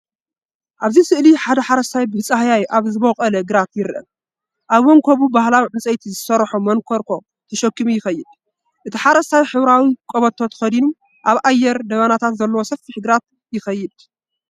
ኣብዚ ስእሊ ሓደ ሓረስታይ ብጻህያይ ኣብ ዝበቖለ ግራት ይርአ። ኣብ መንኵቡ ባህላዊ ዕንጨይቲ ዝሰርሖ መንኮርኮ ተሰኪሙ ይኸይድ። እቲ ሓረስታይ ሕብራዊ ቀበቶ ተኸዲኑ፡ ኣብ ኣየር ደበናታት ዘለዎ ሰፊሕ ግራት ይኸይድ።